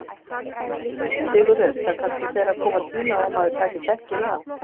Sigurður: Það kannski fer að koma tími á að maður taki dekkin af?